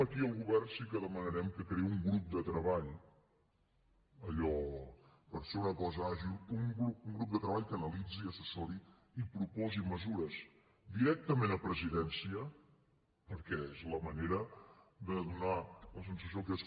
aquí al govern sí que li demanarem que creï un grup de treball allò per ser una cosa àgil que analitzi assessori i proposi mesures directament a presidència perquè és la manera de donar la sensació que és